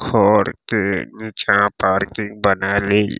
खोर के नीचा पार्किंग बना लिल।